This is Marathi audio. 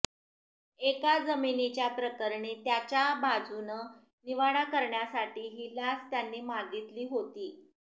एका जामिनीच्या प्रकरणी त्याच्या बाजूनं निवाडा करण्यासाठी ही लाच त्यांनी मागितली होती